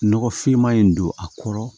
Nɔgɔfinma in don a kɔrɔ